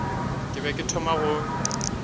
ke be ke thoma go